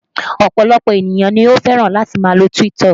Ọ̀pọ̀lọpọ̀ ènìyàn ni ó fẹ́ràn láti máa lo TikTok